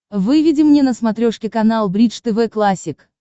выведи мне на смотрешке канал бридж тв классик